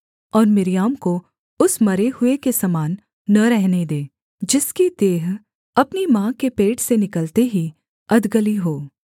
और मिर्याम को उस मरे हुए के समान न रहने दे जिसकी देह अपनी माँ के पेट से निकलते ही अधगली हो